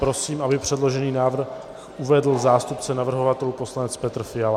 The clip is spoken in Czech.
Prosím, aby předložený návrh uvedl zástupce navrhovatelů poslanec Petr Fiala.